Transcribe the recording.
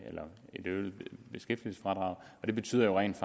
øget beskæftigelsesfradrag det betyder rent